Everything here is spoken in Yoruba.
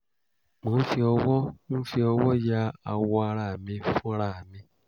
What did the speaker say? mò ń fi ọwọ́ ń fi ọwọ́ ya awọ ara mi fúnra mi